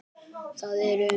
Það er um